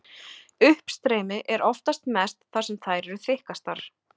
Uppstreymi er oftast mest þar sem þær eru þykkastar.